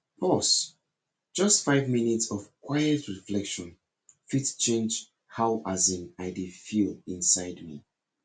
pause just five minutes of quiet reflection fit change how as in i dey feel inside me